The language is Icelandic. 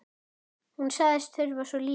Hún sagðist þurfa svo lítið.